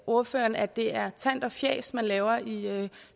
ordføreren at det er tant og fjas man laver i